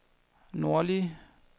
nordlige